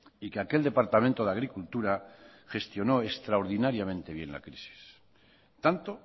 y que aquel departamento de agricultura gestionó extraordinariamente bien la crisis tanto